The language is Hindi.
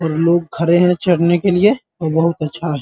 और लोग खड़े है चढ़ने के लिए और बहुत अच्छा है।